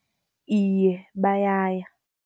Iye bayaya.